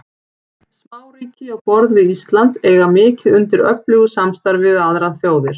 Smáríki á borð við Ísland eiga mikið undir öflugu samstarfi við aðrar þjóðir.